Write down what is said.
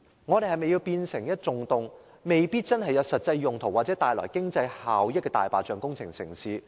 我們是否想香港充斥一個個沒有實際用途或經濟效益的"大白象"工程呢？